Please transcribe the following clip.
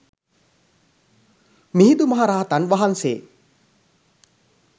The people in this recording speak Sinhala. මිහිඳු මහ රහතන් වහන්සේ